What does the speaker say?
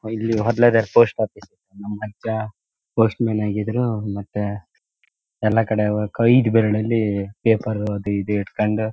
ಒಹ್ ಇಲ್ಲಿ post office ನಮ್ ಅಜ್ಜ ಪೋಸ್ಟ್ ಮ್ಯಾನ್ ಆಗಿದ್ರು ಮತ್ತೆ ಎಲ್ಲಾ ಕಡೆ ನಾಕ್ ಐದು ಬೆರಳಲ್ಲಿ ಪೇಪರ್ ಅದು ಇದು ಹಿಟ್ಕೊಂಡು--